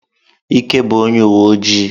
Ike bụbu onye uwe ojii.